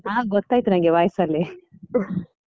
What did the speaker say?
ಹಾ, ಗೊತ್ತಾಯ್ತು ನಂಗೆ voice ಲ್ಲಿ .